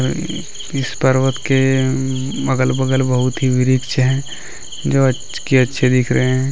इस पर्वत के अगल बगल बहुत ही वृक्ष है जो कि अच्छे दिख रहे हैं।